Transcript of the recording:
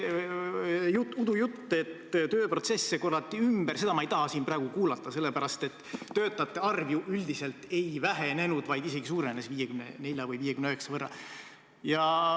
See udujutt, et tööprotsesse korraldati ümber – seda ma ei taha siin praegu kuulata, sest töötajate arv üldiselt ei vähenenud, vaid isegi suurenes 54 või 59 võrra.